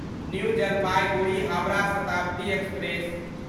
new Jalpaiguri Howrah Shatabdi express